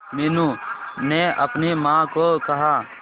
मीनू ने अपनी मां को कहा